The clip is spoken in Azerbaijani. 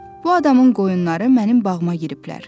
Bu adamın qoyunları mənim bağıma giriblər.